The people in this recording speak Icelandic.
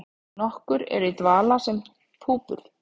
Nokkur eru í dvala sem púpur.